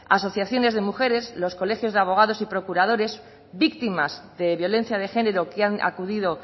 asociaciones de mujeres los colegios de abogados y procuradores víctimas de violencia de género que han acudido